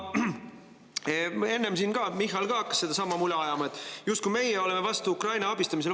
Enne siin ka Michal hakkas sedasama mula ajama, justkui meie oleksime vastu Ukraina abistamisele.